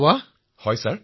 প্ৰধানমন্ত্ৰীঃ আৰে বাহ